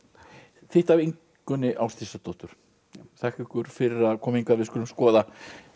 þýtt af Ingunni Ásdísardóttur þakka ykkur fyrir að koma hingað við skulum skoða